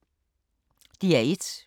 DR1